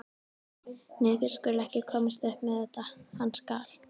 Nei, þeir skulu ekki komast upp með þetta, hann skal.